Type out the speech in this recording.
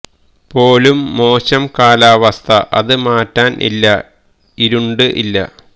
പോലും മോശം കാലാവസ്ഥ അത് മാറ്റാൻ ഇല്ല ഇരുണ്ട് ഇല്ല